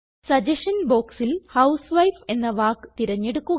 suggestion ബോക്സിൽ housewife എന്ന വാക്ക് തിരഞ്ഞെടുക്കുക